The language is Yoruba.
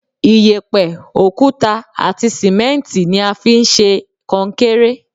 Iyẹ̀pẹ̀, òkúta àti sìmẹ́ǹtì ni a fi ń ṣe kọnkéré.